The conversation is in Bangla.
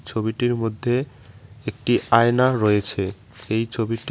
ছবিটির মধ্যে একটি আয়না রয়েছে এই ছবিটি--